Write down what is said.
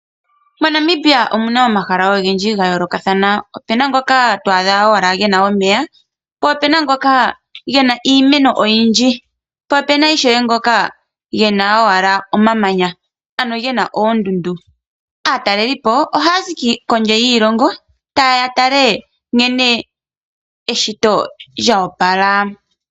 MoNamibia omuna omahala ogendji ga yoolokathana. Opuna ngoka to adha owala gena omeya, po puna ngoka gena iimeno oyindji po opuna ngoka gena owala omamanya ano gena oondundu. Aataleli po ohaya zi kondje yiilongo ta yeya ya tale nkene eshito lya opala.